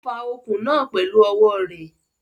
Ó fa okùn náà pẹ̀lú ọwọ́ rẹ̀.